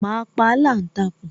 Ma pa aláǹtakùn